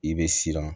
I bɛ siran